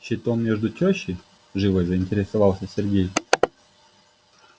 щитом между тещёй живо заинтересовался сергей